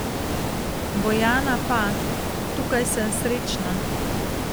Bojana pa: 'Tukaj sem srečna.